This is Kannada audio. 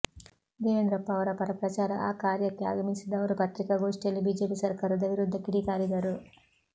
ದೇವೇಂದ್ರಪ್ಪ ಅವರ ಪರ ಪ್ರಚಾರ ಕಾರ್ಯಕ್ಕೆ ಆಗಮಿಸಿದ್ದ ಅವರು ಪತ್ರಿಕಾಗೋಷ್ಠಿಯಲ್ಲಿ ಬಿಜೆಪಿ ಸರ್ಕಾರದ ವಿರುದ್ಧ ಕಿಡಿ ಕಾರಿದರು